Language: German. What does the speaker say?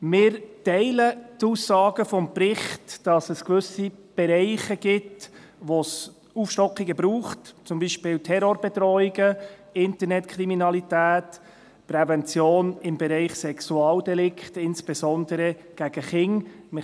Wir teilen die Aussagen des Berichts, wonach es gewisse Bereiche gibt, in denen es Aufstockungen braucht, beispielsweise Terrorbedrohungen, Internetkriminalität, Prävention im Bereich Sexualdelikte, insbesondere gegen Kinder.